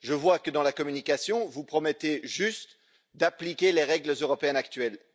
Je vois que, dans la communication, vous promettez simplement d'appliquer les règles européennes actuelles.